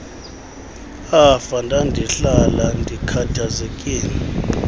afa ndandihlala ndikhathazekile